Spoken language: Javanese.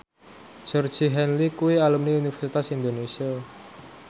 Georgie Henley kuwi alumni Universitas Indonesia